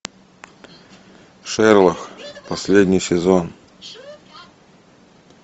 шерлок последний сезон